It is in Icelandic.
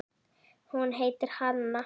Hún heitir Hanna.